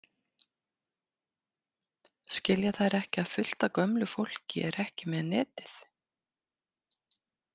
Skilja þær ekki að fullt af gömlu fólki er ekki með netið?